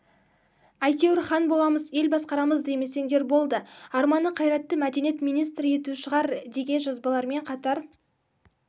әйтеуір хан боламыз ел басқарамыз демесеңдер болды арманы қайратты мәдениет министрі ету шығар деге жазбаларымен қатар